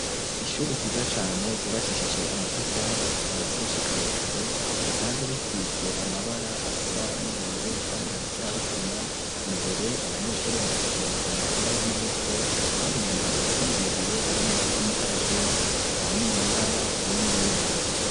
Ishuri ryiza cane ryubakishije amatafari kuva Hadi gushika hejuru risanze risitse amabara asa n'ubururu kandi hasi harisina imbere abanyeshuri barakinira umupira w'amaboko kandi nyuma hara ibiti birebire harimo uby'imukaratosi aho ni mu ntara ya muyinga.